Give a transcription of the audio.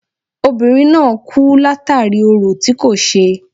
Obìnrin náà kú látàri orò tí kò ṣe.